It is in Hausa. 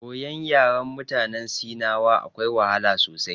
Koyon yaren mutanen sinawa akwai wahala sosai.